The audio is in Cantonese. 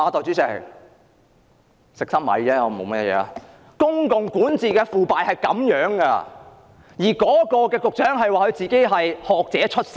這正是公共管治的腐敗，局長竟自稱是社福界的學者出身。